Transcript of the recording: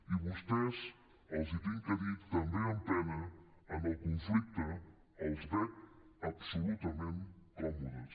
i vostès els ho haig de dir també amb pena en el conflicte els veig absolutament còmodes